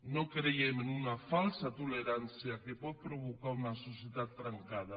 no creiem en una falsa tolerància que pot provocar una societat trencada